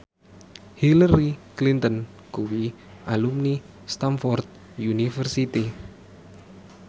Hillary Clinton kuwi alumni Stamford University